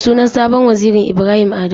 Sunan sabon wazirin Ibrahim Adamu.